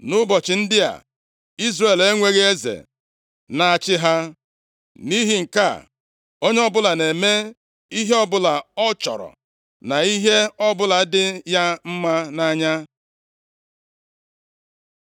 Nʼụbọchị ndị a, Izrel enweghị eze na-achị ha. + 21:25 \+xt Nkp 17:6; 18:1; 19:1\+xt* Nʼihi nke a, onye ọbụla na-eme ihe ọbụla ọ chọrọ, na ihe ọbụla dị ya mma nʼanya. + 21:25 \+xt Dit 12:8; Nkp 17:6\+xt*